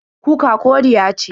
Kuka koriya ce.